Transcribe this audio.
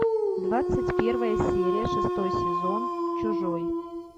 двадцать первая серия шестой сезон чужой